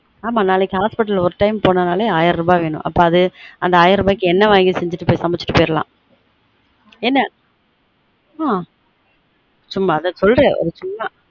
ஆமா நாளைக்கு hospital ஒரு time போனாலே ஆயிரம் ரூபா வேணும் அப்புறம் அந்த ஆயிரம் ரூபாயிக்கு எண்ணெய் வாங்கி சமைச்சுட்டு போய்டலான் என் ஆன் சும்மா அது சொல்றன் ஒரு சும்மா